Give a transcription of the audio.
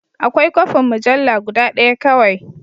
Akwai kwafin mujalla guda ɗaya kawai.